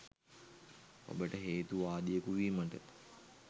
ඔබට හේතු වාදියෙකු වීමට